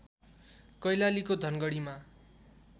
कैलालीको धनगढीमा